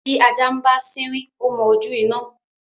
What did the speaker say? bi ajá ń bá siwin o mọ ojú iná